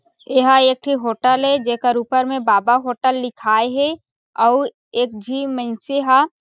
एहा एक ठो होटल ए जेकर ऊपर में बाबा होटल लिखाए हे अउ एक झी मइन्से ह।